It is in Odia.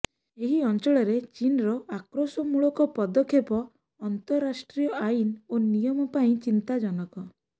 ଏହି ଅଞ୍ଚଳରେ ଚୀନ୍ର ଆକ୍ରୋଶମୂଳକ ପଦକ୍ଷେପ ଅନ୍ତରାଷ୍ଟ୍ରୀୟ ଆଇନ୍ ଓ ନିୟମ ପାଇଁ ଚିନ୍ତାଜନକ